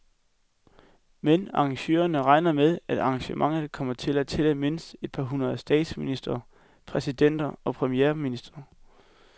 Men arrangørerne regner med, at arrangementet kommer til at tælle mindst et hundrede statsministre, præsidenter og premierministre.